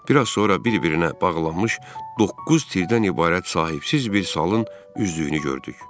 Bir az sonra bir-birinə bağlanmış doqquz tirdən ibarət sahibsiz bir salın üzdüyünü gördük.